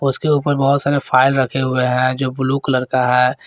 उसके ऊपर बहोत सारे फाइल रखे हुए हैं जो ब्लू कलर का है।